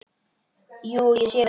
Jú, ég sé það.